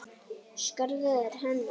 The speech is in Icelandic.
Skarðið er hennar.